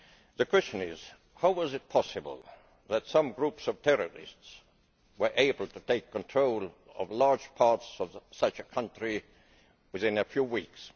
The question is how was it possible that some groups of terrorists were able to take control of large parts of such a country within a few weeks?